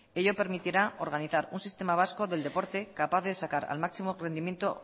ello permitirá organizar un sistema vasco del deporte capaz de sacar al máximo rendimiento